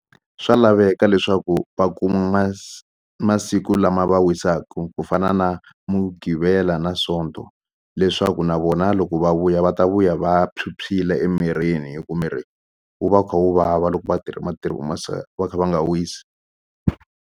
Swa laveka leswaku va kuma masiku lama va wisaku ku fana na mugqivela na sonto leswaku na vona loko va vuya va ta vuya va phyuphyile emirini hi ku miri wu va wu kha wu vava loko vatirhi va kha va nga wisi.